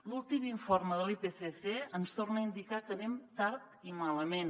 l’últim informe de l’ipcc ens torna a indicar que anem tard i malament